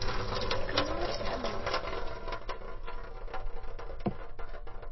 Ég man eftir ömmu.